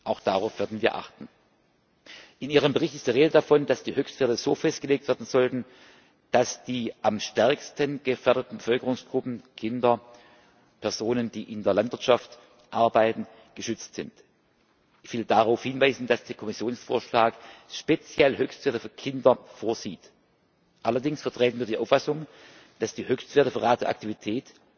Auch darauf werden wir achten. In Ihrem Bericht ist die Rede davon, dass die Höchstwerte so festgelegt werden sollten, dass die am stärksten gefährdeten Bevölkerungsgruppen Kinder, Personen, die in der Landwirtschaft arbeiten geschützt sind. Ich will darauf hinweisen, dass der Kommissionsvorschlag speziell Höchstwerte für Kinder vorsieht. Allerdings vertreten wir die Auffassung, dass die Höchstwerte für Radioaktivität